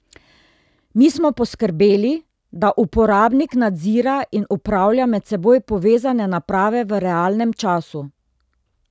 Mi smo poskrbeli, da uporabnik nadzira in upravlja med seboj povezane naprave v realnem času.